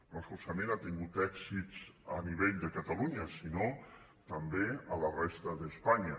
no solament ha tingut èxits a nivell de catalunya sinó també a la resta d’espanya